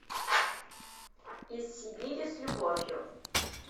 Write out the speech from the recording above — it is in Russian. из сибири с любовью